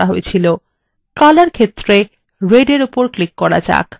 color ক্ষেত্রে red in উপর click করা যাক